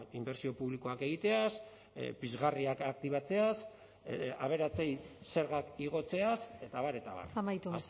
inbertsio publikoak egiteaz pizgarriak aktibatzeaz aberatsei zergak igotzeaz eta abar eta abar amaitu